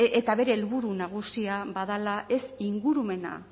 eta bere helburu nagusia badela ez ingurumena